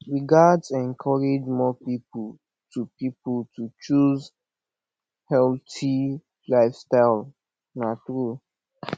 we gats encourage more pipo to pipo to choose healthy lifestyle na true